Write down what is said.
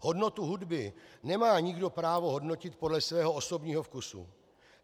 Hodnotu hudby nemá nikdo právo hodnotit podle svého osobního vkusu.